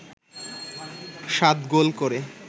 সাত গোল করে